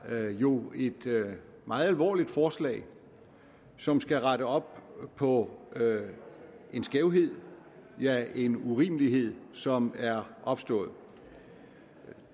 er jo et meget alvorligt forslag som skal rette op på en skævhed ja en urimelighed som er opstået